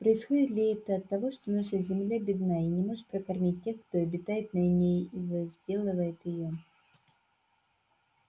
происходит ли это от того что наша земля бедна и не может прокормить тех кто обитает на ней и возделывает её